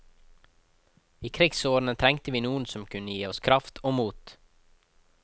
I krigsårene trengte vi noen som kunne gi oss kraft og mot.